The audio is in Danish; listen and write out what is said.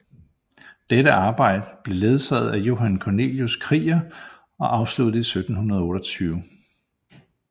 Dette arbejde blev ledet af Johan Cornelius Krieger og afsluttet i 1728